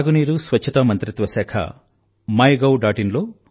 త్రాగునీరు మరియు స్వచ్ఛతా మంత్రిత్వశాఖ MyGov